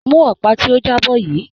Mú ọ̀pá tí ó jábọ́ yìí.